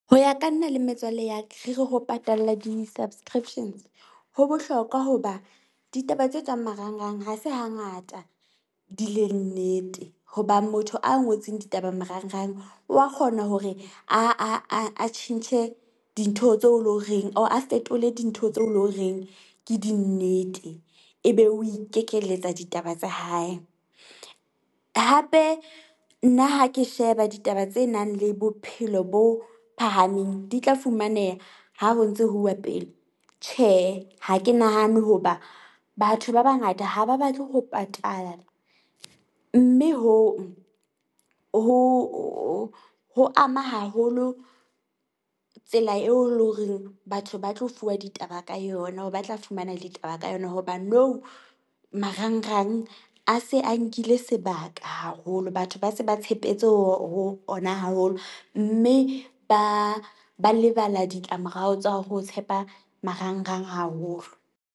Ho ya ka nna le metswalle ya ka re re ho patalla di-subscriptions ho bohlokwa hoba ditaba tse tswang marang-rang, ha se ha ngata di leng nnete. Hoba motho a ngotseng ditaba marang-rang wa kgona hore a a a a tjhentjhe dintho tseo o leng horeng or a fetole dintho tseo o leng horeng, ke dinnete ebe o ikekeletsa ditaba tsa hae. Hape nna ha ke sheba ditaba tse nang le bophelo bo phahameng di tla fumaneha, ha ho ntse ho uwa pele. Tjhehe, ha ke nahane hoba batho ba ba ngata ha ba batle ho patala. Mme hong ho ho ho ama haholo tsela eo lo horeng batho ba tlo fuwa ditaba ka yona or ba tla fumana ditaba ka yona. Hobane nou marang-rang a se a nkile sebaka haholo. Batho ba se ba tshepetse ho ho ona haholo mme, ba ba lebala ditlamorao tsa ho tshepa marang-rang haholo.